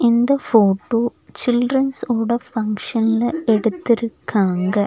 இந்த photo childrens ஓட ஃபங்ஷன்ல எடுத்துருக்காங்க.